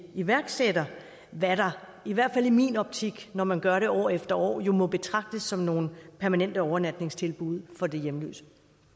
iværksætter hvad der i hvert fald i min optik når man gør det år efter år jo må betragtes som nogle permanente overnatningstilbud for de hjemløse